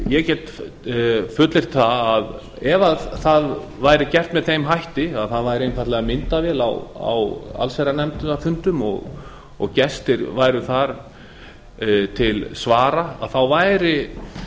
ég get fullyrt að ef það væri gert með þeim hætti að það væri einfaldlega myndavél á allsherjarnefndarfundum og gestir væru þar til svara þá væri